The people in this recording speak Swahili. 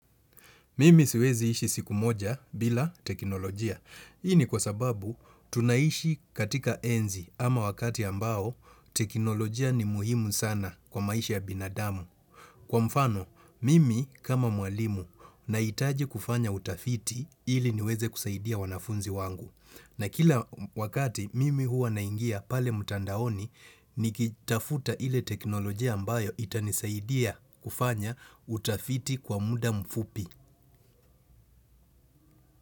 Mimi siwezi ishi siku moja bila teknolojia. Hii ni kwa sababu tunaishi katika enzi ama wakati ambao teknolojia ni muhimu sana kwa maisha ya binadamu. Kwa mfano, mimi kama mwalimu nahitaji kufanya utafiti ili niweze kusaidia wanafunzi wangu. Na kila wakati mimi huwa naingia pale mtandaoni nikitafuta ile teknolojia ambayo itanisaidia kufanya utafiti kwa muda mfupi.